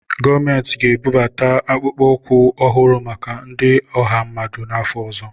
Gọọmentị ga-ebubata akpụkpọ ụkwụ ọhụrụ maka ndi ọha mmadụ n'afọ ọzọ.